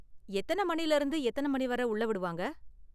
எத்தன மணில இருந்து எத்தன மணி வரை உள்ள விடுவாங்க?